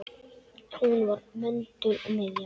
Hún var möndull og miðja.